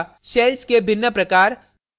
* shells के भिन्न प्रकार